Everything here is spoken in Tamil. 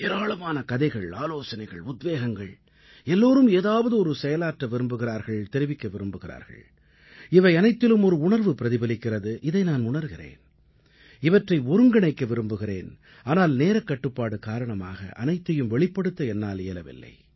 ஏராளமான கதைகள் ஆலோசனைகள் உத்வேகங்கள் எல்லோரும் ஏதாவது ஒரு செயலாற்ற விரும்புகிறார்கள் தெரிவிக்க விரும்புகிறார்கள் இவையனைத்திலும் ஒரு உணர்வு பிரதிபலிக்கிறது இதை நான் உணர்கிறேன் இவற்றை ஒருங்கிணைக்க விரும்புகிறேன் ஆனால் நேரக்கட்டுப்பாடு காரணமாக அனைத்தையும் வெளிப்படுத்த என்னால் இயலவில்லை